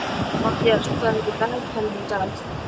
Matthías, hvað er í dagatalinu í dag?